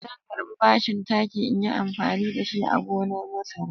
Zan karɓi bashin taki in yi amfani da shi a gonan masara.